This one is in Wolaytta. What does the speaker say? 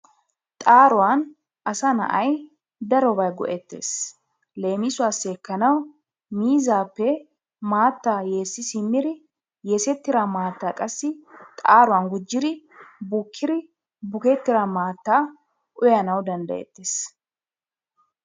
Xaaruwan asa na'ay darobaa go'ettees. Leemisuwassi ekkanawu miizzaappe maattaa yeessi simmiri yeesettira maattaa qassi xaaruwan gujjiri bukkiri bukettira maattaa uyanawu danddayettees.